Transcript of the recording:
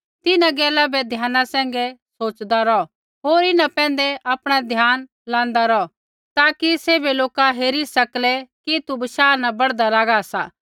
तिन्हां गैला बै ध्याना सैंघै सोच़दा रौह होर इन्हां पैंधै आपणा ध्यान लाँदा रौह ताकि सैभ लोका हेरी सकलै कि तू बशाह न बढ़दा लागा सा